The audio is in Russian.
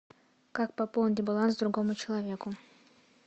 как пополнить баланс другому человеку